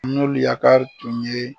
N'olu yakar tun ye